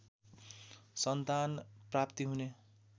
सन्तान प्राप्ति हुने